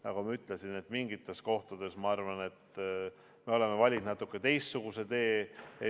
Nagu ma ütlesin, mingites kohtades me oleme valinud natuke teistsuguse tee.